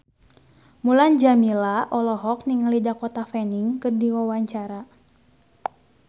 Mulan Jameela olohok ningali Dakota Fanning keur diwawancara